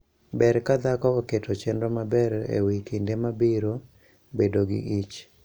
Ber ka dhako oketo chenro maber e wi kinde ma obiro bedo gi ich.